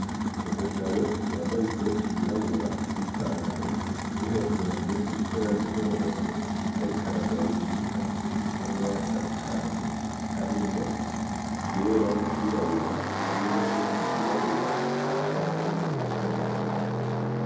Umugabo y'ambaye ikoti y'irabura n'ipantaro n'inkofero mumutwe ifise ibara ry'umuhondo, ariko aragaburira inka zifise amabara atandukanye harimwo iryera n'iryirabura hamwe n'iyindi yirabura. Ifise amahembe mato mato.